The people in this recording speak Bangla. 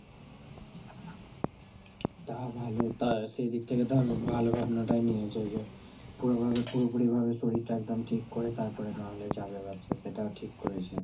তা ভালো, তা সে দিক থেকে ধর ভালো ভাবনাটাই নিয়েছে যে, পুরো ভাবে, পুরোপুরি ভাবে শরীরটা একদম ঠিক করে তারপরে নাহলে যাবে ভাবছে, সেটাও ঠিক করেছে।